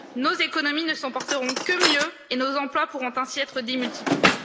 Nos économies ne s'en porteront que mieux et nos emplois pourront ainsi être démultipliés.